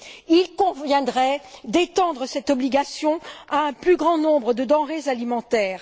Il conviendrait d'étendre cette obligation à un plus grand nombre de denrées alimentaires.